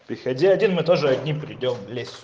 приходи один мы тоже одни придём в лес